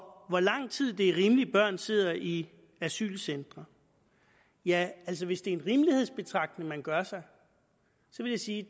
hvor lang tid er det rimeligt børn sidder i asylcentre ja hvis det er en rimelighedsbetragtning man gør sig vil jeg sige